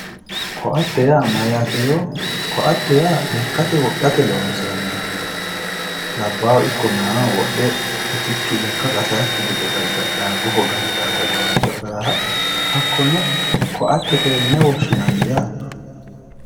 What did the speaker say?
ko'atte yaa mayaate yoo ko'atte yaa lekkate woxxate lonsooniho labahu ikko meyaahu woxxe utichu qasaayooki gede gargaxaa gufo gantaata gawajo agaraaha hakkonne ko'attetewe yine woshshinayi yaate.